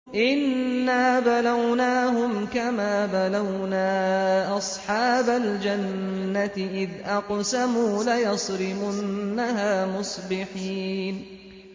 إِنَّا بَلَوْنَاهُمْ كَمَا بَلَوْنَا أَصْحَابَ الْجَنَّةِ إِذْ أَقْسَمُوا لَيَصْرِمُنَّهَا مُصْبِحِينَ